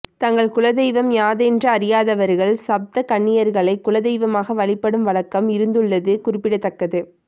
தங்கள் குலதெய்வம் யாதென்று அறியாதவர்கள் சப்த கன்னியர்களை குலதெய்வமாக வழிபடும் வழக்கம் இருந்துள்ளது குறிப்பிடத்தக்கது